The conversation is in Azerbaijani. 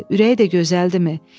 Ürəyi də gözəldirmi?